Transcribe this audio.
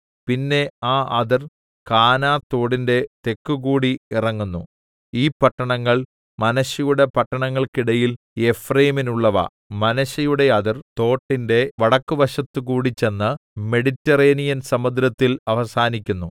പിന്നെ ആ അതിർ കാനാ തോടിന്റെ തെക്കുകൂടി ഇറങ്ങുന്നു ഈ പട്ടണങ്ങൾ മനശ്ശെയുടെ പട്ടണങ്ങൾക്കിടയിൽ എഫ്രയീമിനുള്ളവ മനശ്ശെയുടെ അതിർ തോട്ടിന്റെ വടക്കുവശത്തുകൂടി ചെന്ന് മെഡിറ്റെറേനിയന്‍ സമുദ്രത്തിൽ അവസാനിക്കുന്നു